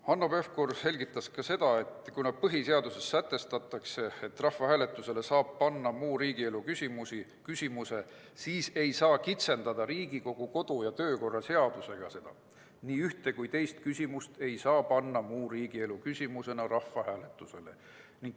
Hanno Pevkur selgitas ka seda, et kuna põhiseaduses sätestatakse, et rahvahääletusele saab panna muu riigielu küsimuse, siis ei saa seda Riigikogu kodu- ja töökorra seadusega kitsendada, sätestades, et ühte või teist küsimust ei saa muu riigielu küsimusena rahvahääletusele panna.